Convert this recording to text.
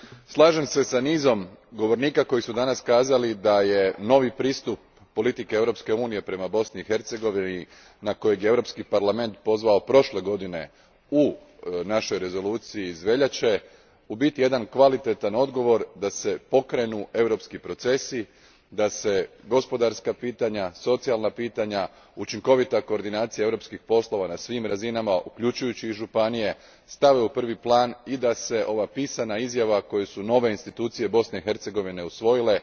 Slažem se s nizom govornika koji su danas kazali da je novi pristup politike Europske unije prema Bosni i Hercegovini, na kojeg je Europski Parlament pozvao prošle godine u našoj rezoluciji iz veljače, u biti jedan kvalitetan odgovor da se okrenu europski procesi, da se gospodarska pitanja, socijalna pitanja, učinkovita koordinacija europskih poslova na svim razinama, uključujući i županije, stave u prvi plan i da se ova pisana izjava koju su nove institucije Bosne i Hercegovine usvojile